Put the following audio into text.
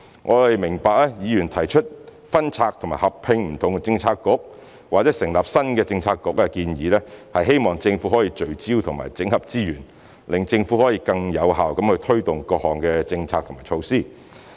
我們明白議員提出分拆及合併不同政策局或成立新的政策局的建議，是希望政府可以聚焦和整合資源，讓政府可以更有效地推動各項政策和措施。